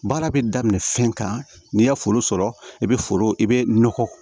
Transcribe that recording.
Baara bɛ daminɛ fɛn kan n'i y'a foro sɔrɔ i bɛ foro i be nɔgɔ